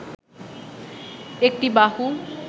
একটি বাহু